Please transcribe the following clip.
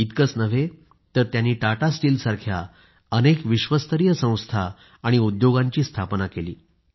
इतकंच नाही तर त्यांनी टाटा स्टीलसारख्या अनेक विश्वस्तरीय संस्था आणि उद्योगांची स्थापना केली